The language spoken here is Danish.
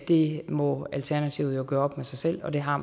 det må alternativet jo gøre op med sig selv og det har